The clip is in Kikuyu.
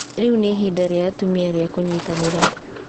Rĩu nĩ ihinda rĩa atumia rĩa kũnyitanĩra.